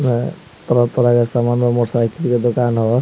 ह तरह-तरह के समान बा मोटर साइकिल के दुकान ह।